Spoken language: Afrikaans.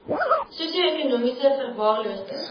sosio ekonomies verwaarloosde